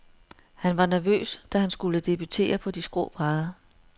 Han var nervøs, da han skulle debutere på de skrå brædder.